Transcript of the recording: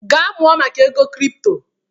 Gaa mụọ maka ego kripto!